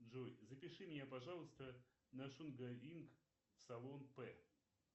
джой запиши меня пожалуйста на шугаринг в салон п